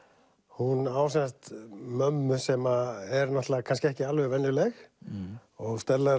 hún á sem sagt mömmu sem er kannski ekki alveg venjuleg og Stella er